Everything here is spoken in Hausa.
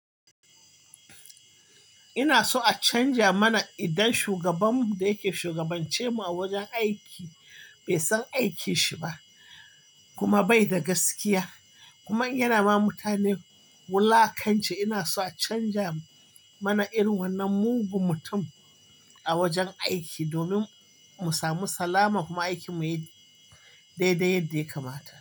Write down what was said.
Ina so a canja mana idan shugabanmu da yake shugabance mu a wajen aiki bai san aikin shi ba kuma bai da gaskiya kuma yana ma mutane wulakanci. Ina so a canja mana irin wannan mugun mutum a wajen aiki domin mu samu salama kuma aikin mu ya yi daidai yadda ya kamata.